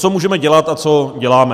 Co můžeme dělat a co děláme.